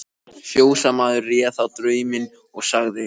Fjósamaður réð þá drauminn, og sagði